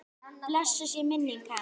Blessuð sé minning hans!